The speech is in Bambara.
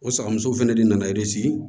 O sagamuso fɛnɛ de nana